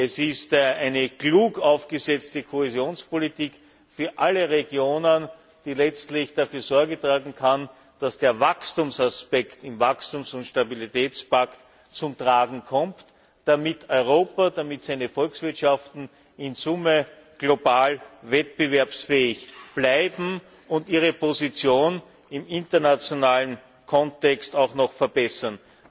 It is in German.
Es ist eine klug aufgesetzte Kohäsionspolitik für alle Regionen, die letztlich dafür Sorge tragen kann, dass der Wachstumsaspekt im Wachstums und Stabilitätspakt zum Tragen kommt, damit Europa, damit seine Volkswirtschaften in Summe global wettbewerbsfähig bleiben und sie ihre Position im internationalen Kontext auch noch verbessern.